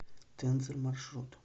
тензор маршрут